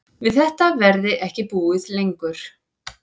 Við þetta verði ekki búið lengur